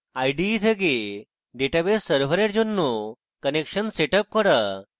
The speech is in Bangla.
ide থেকে database server জন্য connection set up করা